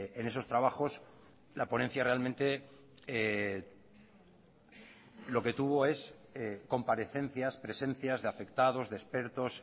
en esos trabajos la ponencia realmente lo que tuvo es comparecencias presencias de afectados de expertos